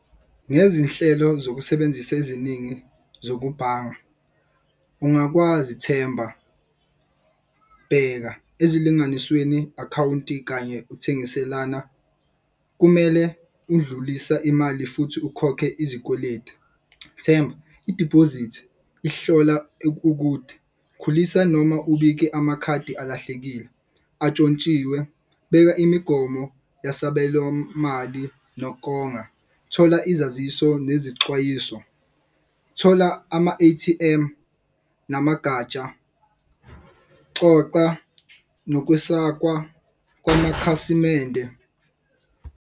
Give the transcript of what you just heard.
Ngezinhlelo zokusebenzisa eziningi zokubhanga ungakwazi Themba, bheka ezilinganisweni akhawunti kanye ukuthengiselana. Kumele undlulisa imali futhi ukhokhe izikweletu. Themba idibhozithi ihlola ukude, khulisa noma ubike amakhadi alahlekile atshontshiwe. Beka imigomo yasabelo mali nokonga, thola izaziso nezixwayiso, thola ama-A_T_M namagatsha. Xoxa nokesakazwa kwamakhasimende.